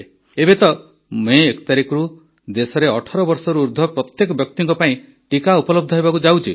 ଏବେ ତ ମଇ ୧ ତାରିଖରୁ ଦେଶରେ ୧୮ ବର୍ଷ ବୟସରୁ ଉର୍ଦ୍ଧ୍ୱ ପ୍ରତ୍ୟେକ ବ୍ୟକ୍ତିଙ୍କ ପାଇଁ ଟିକା ଉପଲବ୍ଧ ହେବାକୁ ଯାଉଛି